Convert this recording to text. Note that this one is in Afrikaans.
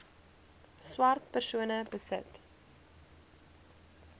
swart persone besit